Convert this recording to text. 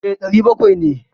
E, ɗari bakwai ce.